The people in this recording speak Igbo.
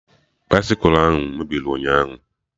Baisịkụ ahụ mebiri ụnyaahụ